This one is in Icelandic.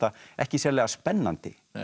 ekki sérlega spennandi